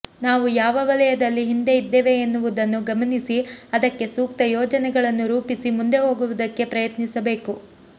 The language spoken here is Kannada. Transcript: ನಾವು ಯಾವ ವಲಯದಲ್ಲಿ ಹಿಂದೆ ಇದ್ದೇವೆ ಎನ್ನುವುದನ್ನು ಗಮನಿಸಿ ಅದಕ್ಕೆ ಸೂಕ್ತ ಯೋಜನೆಗಳನ್ನು ರೂಪಿಸಿ ಮುಂದೆ ಹೋಗುವುದಕ್ಕೆ ಪ್ರಯತ್ನಿಸಬೇಕು